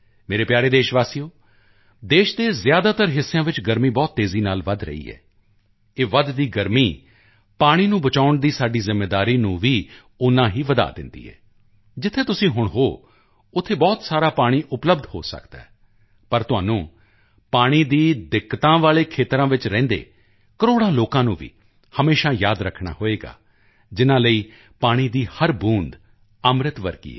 ਮੇਰੇ ਪਿਆਰੇ ਦੇਸ਼ਵਾਸੀਓ ਦੇਸ਼ ਦੇ ਜ਼ਿਆਦਾਤਰ ਹਿੱਸਿਆਂ ਵਿੱਚ ਗਰਮੀ ਬਹੁਤ ਤੇਜ਼ੀ ਨਾਲ ਵਧ ਰਹੀ ਹੈ ਇਹ ਵੱਧਦੀ ਗਰਮੀ ਪਾਣੀ ਨੂੰ ਬਚਾਉਣ ਦੀ ਸਾਡੀ ਜ਼ਿੰਮੇਵਾਰੀ ਨੂੰ ਵੀ ਓਨਾ ਹੀ ਵਧਾ ਦਿੰਦੀ ਹੈ ਜਿੱਥੇ ਤੁਸੀਂ ਹੁਣ ਹੋ ਉੱਥੇ ਬਹੁਤ ਸਾਰਾ ਪਾਣੀ ਉਪਲਬਧ ਹੋ ਸਕਦਾ ਹੈ ਪਰ ਤੁਹਾਨੂੰ ਪਾਣੀ ਦੀ ਕਿੱਲ੍ਹਤ ਵਾਲੇ ਖੇਤਰਾਂ ਵਿੱਚ ਰਹਿੰਦੇ ਕਰੋੜਾਂ ਲੋਕਾਂ ਨੂੰ ਵੀ ਹਮੇਸ਼ਾ ਯਾਦ ਰੱਖਣਾ ਹੋਵੇਗਾ ਜਿਨ੍ਹਾਂ ਲਈ ਪਾਣੀ ਦੀ ਹਰ ਬੂੰਦ ਅੰਮ੍ਰਿਤ ਵਰਗੀ ਹੈ